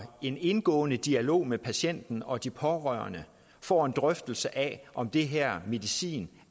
en indgående dialog med patienten og de pårørende får en drøftelse af om den her medicin